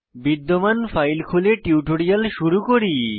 বিদ্যমান ফাইল খুলে টিউটোরিয়াল শুরু করি